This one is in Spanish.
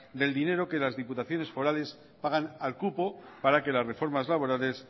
del dinero que las diputaciones forales pagan al cupo para que las reformas laborales